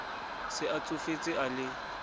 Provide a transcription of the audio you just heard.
se a tsofetse a le